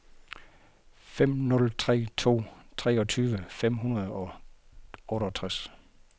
fem nul tre to treogtyve fem hundrede og otteogtres